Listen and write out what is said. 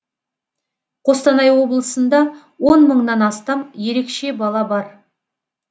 қостанай облысында он мыңнан астам ерекше бала бар